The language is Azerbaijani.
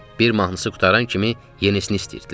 Bir mahnısı qurtaran kimi yenisini istəyirdilər.